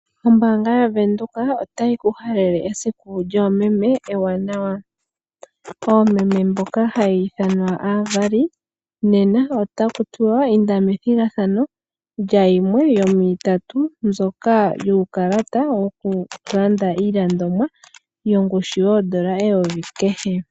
Ombaanga yaVenduka otayi ku halele esiku lyoomeme ewanawa. Oomeme mboka haya ithanwa aavali, nena otaku tiwa inda methigathano lyayimwe yomwiitatu mbyoka yuukalata wokulanda iilandomwa yoshungu yoondola eyovi kehe.